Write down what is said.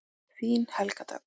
Þín Helga Dögg.